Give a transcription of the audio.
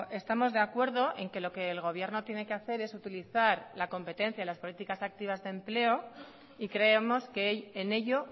estamos de acuerdo en que lo que el gobierno tiene que hacer es utilizar la competencia y las políticas activas de empleo y creemos que en ello